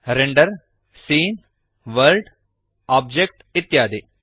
render scene world object ಇತ್ಯಾದಿ